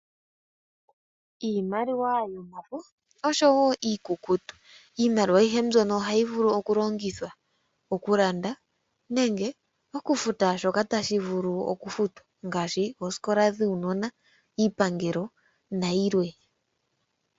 Iimaliwa yomafo oshowo iikukutu, iimaliwa ayihe mbyono ohayivulu okulongithwa okulanda nenge okufuta shoka tashivulu Okufuta ngashi ooskola dhuunona , Iipangelo nayimwe.